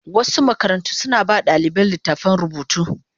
Wasu makarantu suna ba wa ɗalibai littattafan rubutu.